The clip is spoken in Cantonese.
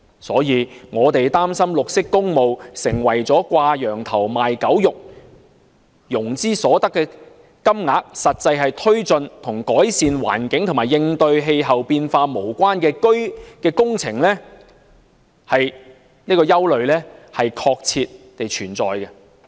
所以，我們擔心綠色工務變成掛羊頭賣狗肉，融資所得的金額實際用於推進與改善環境和應對氣候變化無關的工程，這種憂慮確切地存在。